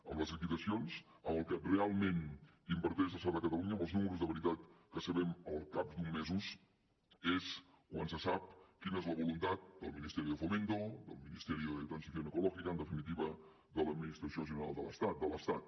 amb les liquidacions amb el que realment inverteix l’estat a catalunya amb els números de veritat que sabem al cap d’uns mesos és quan se sap quina és la voluntat del ministerio de fomento del la transición ecológica en definitiva de l’administració general de l’estat de l’estat